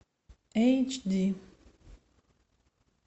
эйч ди